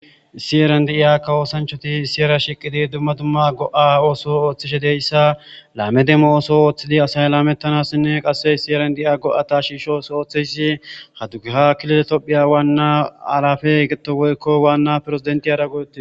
Siyeren di'iya kawoosanchoti siyera shiqidi dumma dumma go'a ooso ooththishe deyssa laame demmo ooso ooththidi asay laamettanassinne qasse siyeren di'iya go'ata shiishos ooththeyssi hadugaha kiloletopphiya waanna alafe getto woykko waanna piresidenti ara goyotii.